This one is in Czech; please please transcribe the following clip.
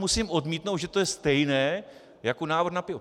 Musím odmítnout, že to je stejné jako návrh na pivo.